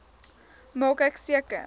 maak ek seker